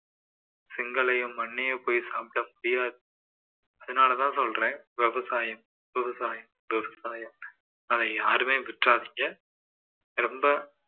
செங்கல்லையோ மண்ணையோ போய் சாப்பிட முடியாது அதனாலதான் சொல்றேன் விவசாயம் விவசாயம் விவசாயம்னு அதை யாருமே விட்டுறாதீங்க ரொம்ப